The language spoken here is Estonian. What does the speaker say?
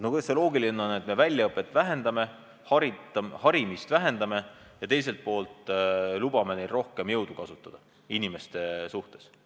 No kuidas see loogiline on, et väljaõpet vähendame, harimist vähendame, aga teiselt poolt lubame neil inimeste suhtes rohkem jõudu kasutada?